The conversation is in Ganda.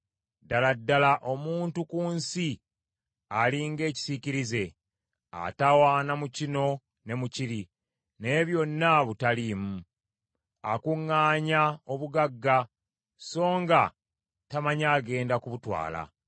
Ddala ddala omuntu ku nsi ali ng’ekisiikirize. Atawaana mu kino ne mu kiri, naye byonna butaliimu. Akuŋŋaanya obugagga, so nga tamanyi agenda kubutwala.